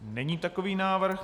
Není takový návrh.